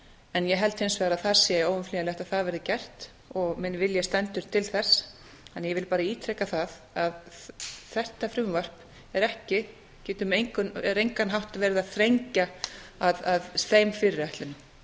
en ég held hins vegar að það sé óumflýjanlegt að það verði gert minn vilji stendur til þess þannig að ég vil bara ítreka að þetta frumvarp er á engan hátt að þrengja að þeim fyrirætlunum mér